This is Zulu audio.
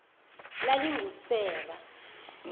lalingusera